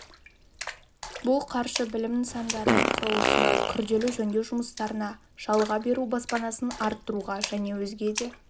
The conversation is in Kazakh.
бұл қаржы білім нысандарының құрылысына күрделі жөндеу жұмыстарына жалға беру баспанасын арттыруға және өзге де